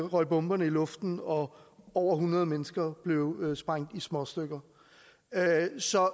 røg bomberne i luften og over hundrede mennesker blev sprængt i småstykker så